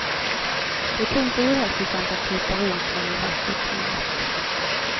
Det är tungt och ohälsosamt att krypa runt inne i lastutrymmet.